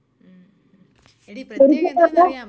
*Not clear* ആ.